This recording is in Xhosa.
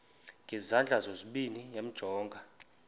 ngezandla zozibini yamjonga